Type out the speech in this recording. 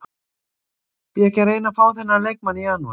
Því ekki að reyna að fá þennan leikmann í janúar?